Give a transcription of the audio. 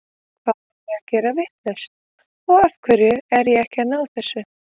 Hvað er ég að gera vitlaust og af hverju er ég ekki að ná þessu?